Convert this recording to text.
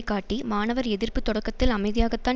காட்டி மாணவர் எதிர்ப்பு தொடக்கத்தில் அமைதியாகத்தான்